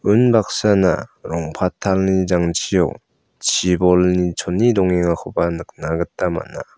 unbaksana rong·patalni jangchio chibolni chone dongengakoba nikna gita man·a.